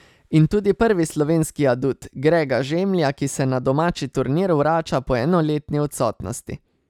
In tudi prvi slovenski adut, Grega Žemlja, ki se na domači turnir vrača po enoletni odsotnosti.